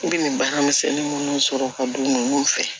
N bɛ nin baara misɛnnin minnu sɔrɔ ka d'u ma olu fɛ